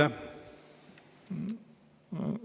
Aitäh!